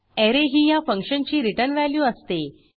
array ही ह्या फंक्शनची रिटर्न व्हॅल्यू असते